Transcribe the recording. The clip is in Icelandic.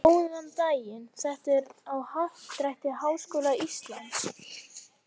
Góðan daginn, þetta er á Happadrætti Háskóla Íslands.